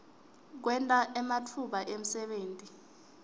kwenta ematfuba emsebenti